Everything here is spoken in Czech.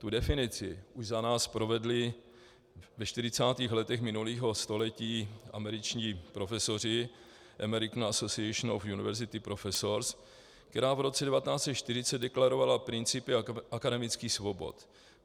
Tu definici už za nás provedli ve 40. letech minulého století američtí profesoři, American Association of University Professors, která v roce 1940 deklarovala principy akademických svobod.